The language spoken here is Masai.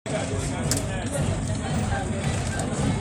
Ore enkata enchan nadoo keisidai teishoi sapuk naijo enoopaek.